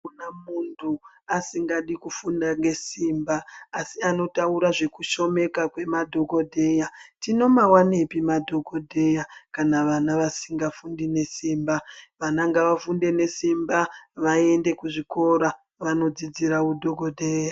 Kana munhu asingadi kufunda ngesimba asi anotaura zvekushomeka kwemadhokodheya tinomawanepi madhokodheya kana vana vasingafundi nesimba vana ngavafunde nesimba vaende kuzvikora vanodzidzira udhokodheya.